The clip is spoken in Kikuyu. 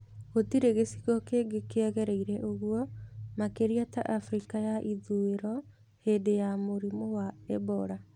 Gũtirĩ gĩcigo kĩngĩ kĩagereire ũguo makĩria ta Afrika ya ithũĩro hĩndĩ wa mũrimũ wa Ebola.